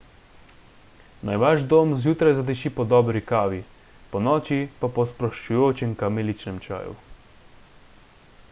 naj vaš dom zjutraj zadiši po dobri kavi ponoči pa po sproščujočem kamiličnem čaju